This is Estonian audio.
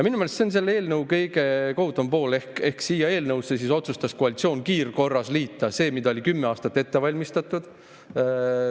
Minu meelest on see selle eelnõu kõige kohutavam pool, et selle eelnõuga otsustas koalitsioon kiirkorras liita selle, mida oli kümme aastat ette valmistatud.